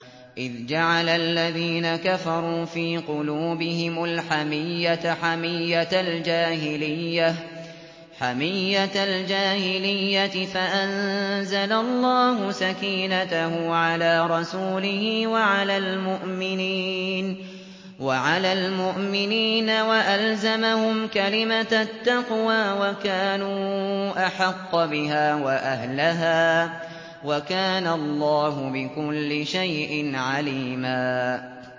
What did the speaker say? إِذْ جَعَلَ الَّذِينَ كَفَرُوا فِي قُلُوبِهِمُ الْحَمِيَّةَ حَمِيَّةَ الْجَاهِلِيَّةِ فَأَنزَلَ اللَّهُ سَكِينَتَهُ عَلَىٰ رَسُولِهِ وَعَلَى الْمُؤْمِنِينَ وَأَلْزَمَهُمْ كَلِمَةَ التَّقْوَىٰ وَكَانُوا أَحَقَّ بِهَا وَأَهْلَهَا ۚ وَكَانَ اللَّهُ بِكُلِّ شَيْءٍ عَلِيمًا